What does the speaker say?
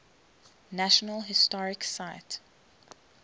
national historic site